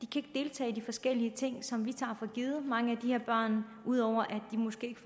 deltage i de forskellige ting som vi tager for givet og udover at de måske ikke